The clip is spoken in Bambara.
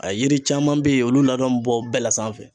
A yiri caman be ye olu ladɔn be bɔ bɛɛ la sanfɛ